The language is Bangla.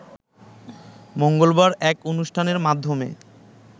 মঙ্গলবার এক অনুষ্ঠানের মাধ্যমে